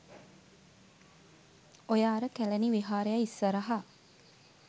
ඔය අර කැළණි විහාරය ඉස්සරහ